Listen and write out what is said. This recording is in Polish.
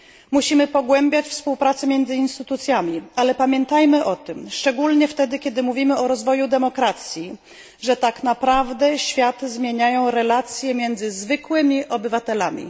Musimy pogłębiać współpracę między instytucjami, ale pamiętajmy o tym, szczególnie wtedy, kiedy mówimy o rozwoju demokracji, że tak naprawdę świat zmieniają relacje między zwykłymi obywatelami.